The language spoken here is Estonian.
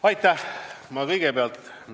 Aitäh!